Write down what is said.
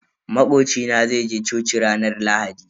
Makoci na zai je coci ranar Lahadi.